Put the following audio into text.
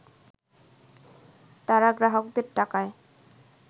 তারা গ্রাহকদের টাকায়